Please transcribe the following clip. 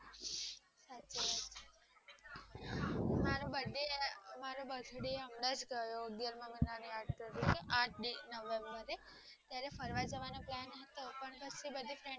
મારો બર્થડે મારો બર્થડે હમણાંજ ગયો અગ્યાર માં મહિના ની ત્યારે ફરવા જવાનો plan હતો પણ